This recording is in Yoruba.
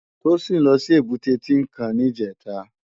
Tosin lò si ébùté Tinkán nijètá